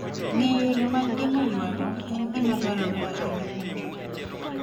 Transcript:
Ng'eyo yore mag geng'o ywaruok en gima dwarore ahinya kuom jopur.